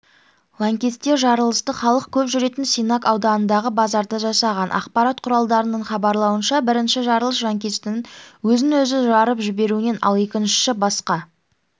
лаңкестер жарылысты халық көп жүретін синак ауданындағы базарда жасаған ақпарат құралдарының хабарлауынша бірінші жарылыс жанкештінің өзін-өзі жарып жіберуінен ал екіншісі басқа